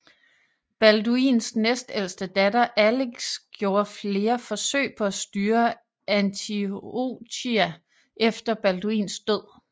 Balduins næstældste datter Alix gjorde flere forsøg på at styre Antiochia efter Balduins død